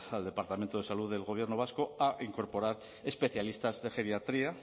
al departamento de salud del gobierno vasco a incorporar especialistas de geriatría